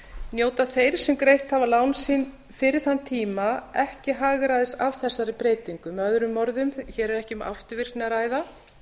njóta þeir sem greitt hafa lán sín fyrir þann tíma ekki hagræðis af þessari breytingu möo hér er ekki um afturvirkni að ræða